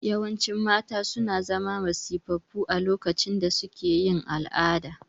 Yawancin mata suna zama masifaffu a lokacin da suke yin al'ada